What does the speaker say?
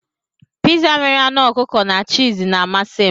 Piza nwere anụ ọkụkọ na chììz na-amasị m.